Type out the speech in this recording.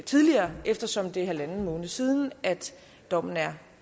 tidligere eftersom det er en en halv måned siden at dommen er